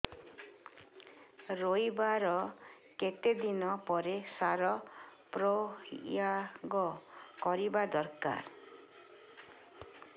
ରୋଈବା ର କେତେ ଦିନ ପରେ ସାର ପ୍ରୋୟାଗ କରିବା ଦରକାର